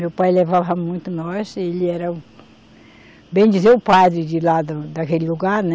Meu pai levava muito nóis, ele era, bem dizer, o padre de lá, daquele lugar, né?